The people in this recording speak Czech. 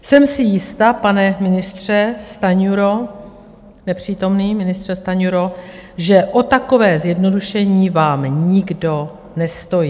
Jsem si jista, pane ministře Stanjuro, nepřítomný ministře Stanjuro, že o takové zjednodušení vám nikdo nestojí.